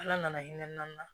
Ala nana hinɛ nan na